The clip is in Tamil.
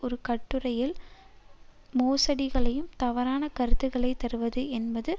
ஒரு கட்டுரையில் மோசடிகளையும் தவறான கருத்துக்களை தருவது என்பது